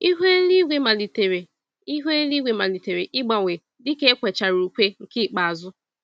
Ihu eluigwe malitere Ihu eluigwe malitere ịgbanwe dịka ekwechara ùkwè nke ikpeazụ